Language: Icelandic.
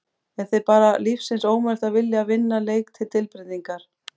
Er þér bara lífsins ómögulegt að vilja að vinna leik til tilbreytingar!?